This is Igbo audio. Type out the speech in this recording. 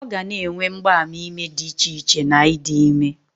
Ọ ga na-enwe mgbaàmà ime dị icheiche na idi ime